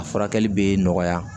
A furakɛli bɛ nɔgɔya